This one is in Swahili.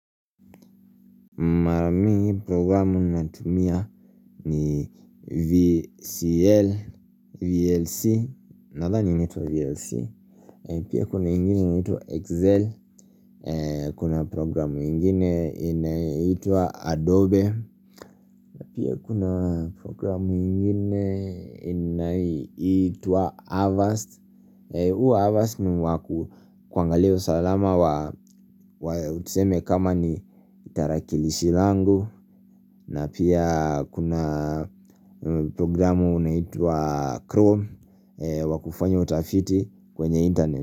Marami programu ninatumia ni VCL, VLC, nadha ni nitwa VLC Pia kuna ingine inaitwa Excel, kuna programu ingine inaitwa Adobe Pia kuna programu ingine inaitwa Avaast Uwa Avaast ni waku kwangalia usalama wa utuseme kama ni tarakilishi langu na pia kuna programu unaitwa Chrome wakufanya utafiti kwenye internet.